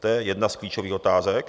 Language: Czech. To je jedna z klíčových otázek.